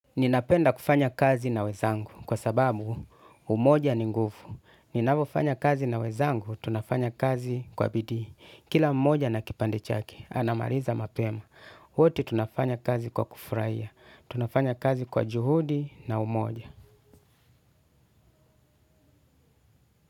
Ninapenda kufanya kazi na wezangu kwa sababu umoja ni nguvu. Ninavofanya kazi na wenzangu, tunafanya kazi kwa bidii. Kila mmoja na kipande chake, anamaliza mapema. Wote tunafanya kazi kwa kufuraia. Tunafanya kazi kwa juhudi na umoja.